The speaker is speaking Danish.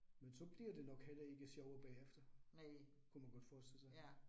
Men så bliver det nok heller ikke sjovere bagefter, kunne man godt forestille sig